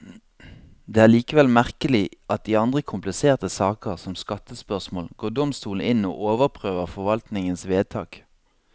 Det er likevel merkelig at i andre kompliserte saker, som skattespørsmål, går domstolene inn og overprøver forvaltningens vedtak.